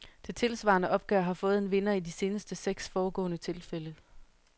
Det tilsvarende opgør har fået en vinder i de seneste seks foregående tilfælde.